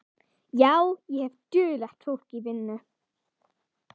Já, ég hef duglegt fólk í vinnu.